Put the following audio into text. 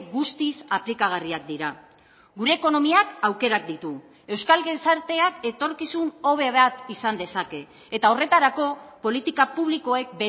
guztiz aplikagarriak dira gure ekonomiak aukerak ditu euskal gizarteak etorkizun hobe bat izan dezake eta horretarako politika publikoek